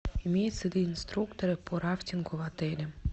имеются ли инструкторы по рафтингу в отеле